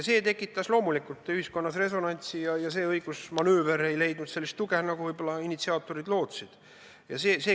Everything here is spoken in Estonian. See tekitas loomulikult ühiskonnas resonantsi ja see õigusmanööver ei leidnud sellist tuge, nagu initsiaatorid võib-olla lootsid.